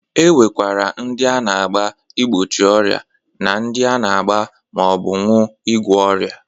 E nwekwara ndị a na-agba igbochi ọrịa na ndị a na-agba ma ọ bụ ṅụ ịgwọ ọrịa.